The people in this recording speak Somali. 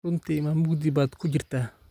Runtii ma mugdi baad ku jirtaa?